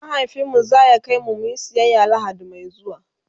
mahaifinmu zaya kaimu muyi siyaya lahadi Mai zuwa